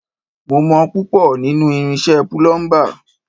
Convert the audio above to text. Mo mọ púpọ̀ nínú irinṣẹ́ púlúḿbà